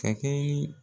Ka kɛ yi